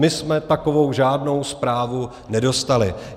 My jsme takovou žádnou zprávu nedostali.